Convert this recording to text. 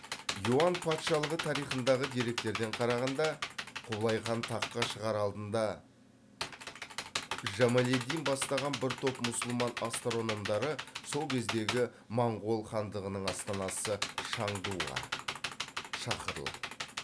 юан патшалығы тарихындағы деректерден қарағанда құбылайхан таққа шағар алдында жамалиддин бастаған бір топ мұсылман астрономдары сол кездегі моңғол хандығының астанасы шаңдуға шақырылады